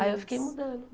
Aí eu fiquei mudando.